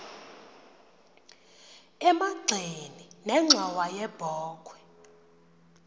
emagxeni nenxhowa yebokhwe